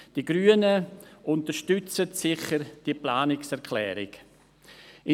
Die Grünen werden diese Planungserklärung sicher unterstützen.